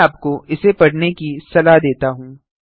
मैं आपको इसे पढ़ने की सलाह देता हूँ